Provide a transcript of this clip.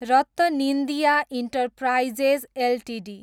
RattanIndia enterprises Ltd